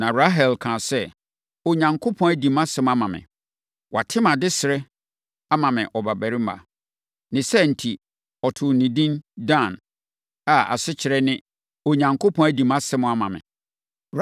Na Rahel kaa sɛ, “Onyankopɔn adi mʼasɛm ama me. Wate mʼadesrɛ ama me ɔbabarima.” Ne saa enti, ɔtoo no edin Dan a asekyerɛ ne, “Onyankopɔn adi mʼasɛm ama me.”